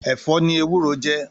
Èfò ni éwùró jè